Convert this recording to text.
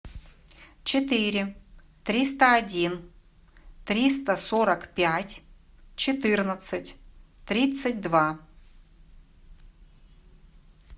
четыре триста один триста сорок пять четырнадцать тридцать два